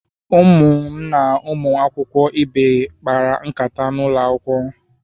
Ụmụ na ụmụ akwụkwọ ibe kpara nkata n'ụlọ akwụkwọ.